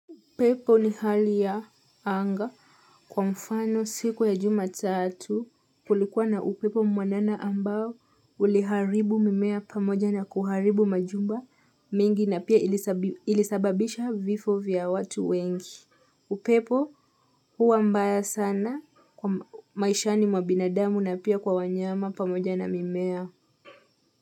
Pepo ni hali ya anga kwa mfano siku ya juma tatu kulikuwa na upepo mwanana ambao uliharibu mimea pamoja na kuharibu majumba mingi na pia ilisababisha vifo vya watu wengi. Upepo huwa mbaya sana maishani mwa binadamu na pia kwa wanyama pamoja na mimea.